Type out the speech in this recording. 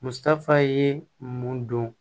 Musaka ye mun don